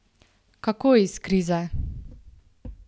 Kako iz krize?